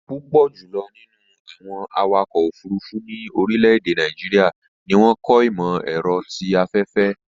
Púpọ̀ jùlọ̀ nínú àwọn awakọ̀ òfurufú ní orílẹ̀-èdè Nàìjíríà ni wọ́n kọ́ ìmọ̀-ẹ̀rọ ti afẹ́fẹ́